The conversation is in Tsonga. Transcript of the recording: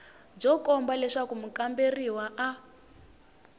byo komba leswaku mukamberiwa a